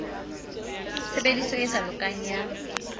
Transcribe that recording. tshebediso e sa lokang ya